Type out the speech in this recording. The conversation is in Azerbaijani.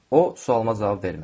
O sualıma cavab vermədi.